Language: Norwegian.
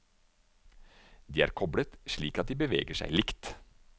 De er koblet slik at de beveger seg likt.